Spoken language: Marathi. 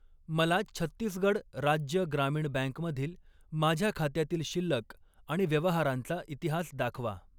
मला छत्तीसगड राज्य ग्रामीण बँक मधील माझ्या खात्यातील शिल्लक आणि व्यवहारांचा इतिहास दाखवा.